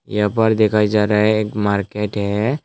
यहां पर दिखाई जा रहा है एक मार्केट है।